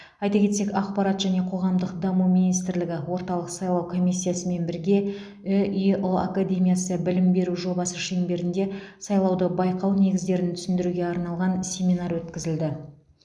айта кетсек ақпарат және қоғамдық даму министрлігі орталық сайлау комиссиясымен бірге үеұ академиясы білім беру жобасы шеңберінде сайлауды байқау негіздерін түсіндіруге арналған семинар өткізілді